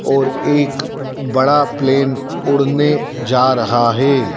और एक बड़ा प्लेन उड़ने जा रहा है।